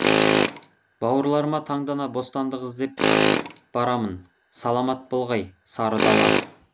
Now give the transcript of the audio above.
бауырларыма таңдана бостандық іздеп барамын саламат болғай сары дала